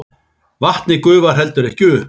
Vatnið gufar heldur ekki upp!